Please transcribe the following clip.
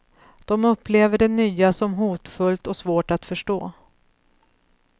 De upplever det nya som hotfullt och svårt att förstå.